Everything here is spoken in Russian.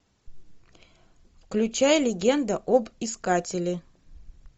включай легенда об искателе